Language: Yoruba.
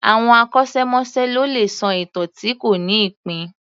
Àwọn akọ́ṣẹ́- mọṣẹ́ ló lè sọ ìtàn tí kò ní ìpín